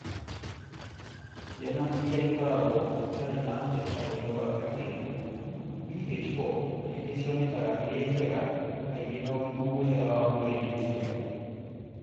Ciana iria ikoragwo itarĩ na tetrahydrobiopterin (BH4) kaingĩ cionekaga irĩ njega na irĩ na ũgima mwega wa mwĩrĩ ikĩciarũo.